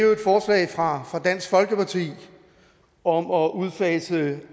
jo et forslag fra dansk folkeparti om at udfase